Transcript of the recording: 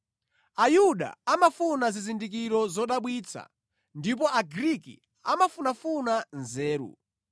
Ayuda amafuna zizindikiro zodabwitsa ndipo Agriki amafunafuna nzeru,